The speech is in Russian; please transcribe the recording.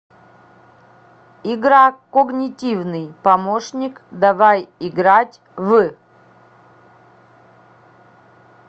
игра когнитивный помощник давай играть в